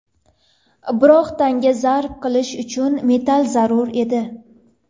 Biroq tanga zarb qilish uchun metall zarur edi.